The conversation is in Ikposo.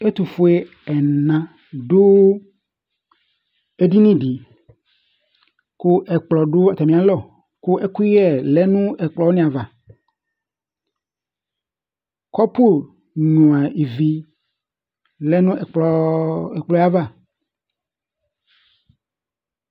Ɛtʋfʋe ɛna du edini di kʋ ɛkplɔ du atami alɔ kʋ ɛkʋyɛ lɛ nʋ ɛkplɔ wani ava Kɔpu nyʋa ívì lɛ nʋ ɛkplɔ yɛ ava